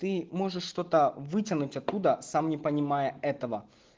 ты можешь что-то вытянуть откуда сам не понимая этого